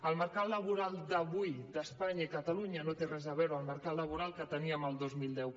el mercat laboral d’avui d’espanya i catalunya no té res a veure amb el mercat laboral que teníem el dos mil deu